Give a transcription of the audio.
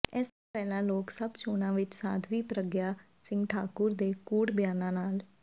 ਇਸ ਤੋਂ ਪਹਿਲਾਂ ਲੋਕ ਸਭਾ ਚੋਣਾਂ ਵਿੱਚ ਸਾਧਵੀ ਪ੍ਰੱਗਿਆ ਸਿੰਘ ਠਾਕੁਰ ਦੇ ਕੂੜ ਬਿਆਨਾਂ ਨਾਲ